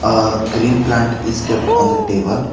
A green plant is kept on the table.